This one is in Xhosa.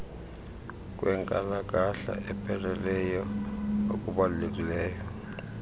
kwenkalakahla epheleleyo okubalulekileyo